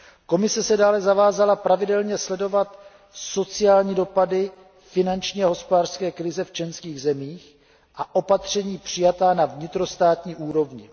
Komise se dále zavázala pravidelně sledovat sociální dopady finanční a hospodářské krize v členských zemích a opatření přijatá na vnitrostátní úrovni.